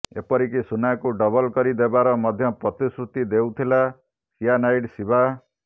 ଏପରିକି ସୁନାକୁ ଡବଲ୍ କରିଦେବାର ମଧ୍ୟ ପ୍ରତିଶ୍ରୁତି ଦେଉଥିଲା ସିଆନାଇଡ୍ ଶିବା